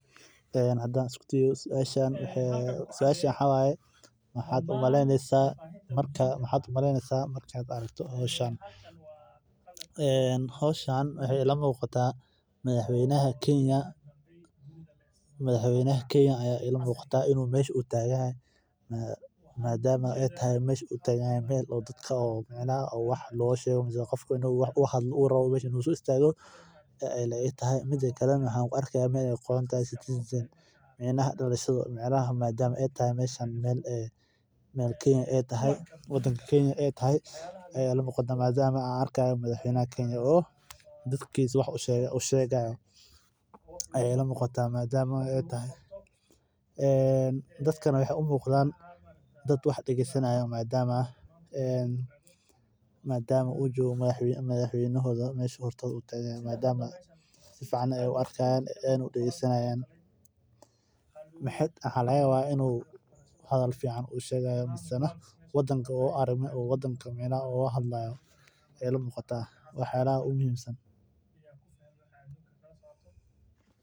Ee hadan isku dayo suasha maxaa waye maxaa u maleynesa marki aad aragto hoshan madhax weynaha kenya aya ila mjqda mida kale waxan arki haya meel ee ku qorantahay citizen micnaha meel wadanka kenya in ee tahay madama madaxweynaha an arki hayo dadkana maxee u egyahan dad wax dagesanayan maxaa laga yawa in u hadhal fican shwgayo in u wadanka micnaha u la hadlayo waxyalaha micnaha ogu muhiimsan ee ka qeb qata daqliga magalada waxaa kamiid ah in maraqa ma aragte u hagajiyo ee dadan iyo danan u uyelo marka aad cuntadha ku cuneyso u sameyse in lagu helo athegyo badan sas ayan u maleye.